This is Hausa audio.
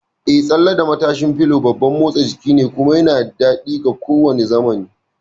Eh, tsalle da matashin fulo babban motsa jiki ne, kuma yana da daɗi ga kowane zamani!